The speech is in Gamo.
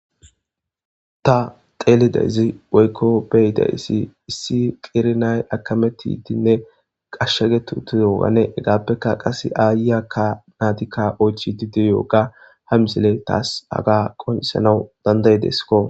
ta teelidaysi woykko beyidayssi issi qernay akametidinne ashshaqet utogane hegaappekka qase ayiyakka naatikka oychidi diyoga ha misile taas haga qonisanaw dandaydeskko